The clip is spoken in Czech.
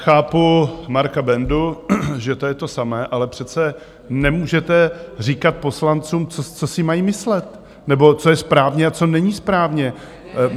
Chápu Marka Bendu, že to je to samé, ale přece nemůžete říkat poslancům, co si mají myslet nebo co je správně a co není správně.